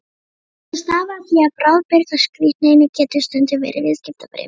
Þetta stafar af því að bráðabirgðaskírteini getur stundum verið viðskiptabréf.